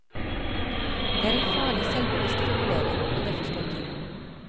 Det er en farlig selvbevisst formulering, men det får stå til.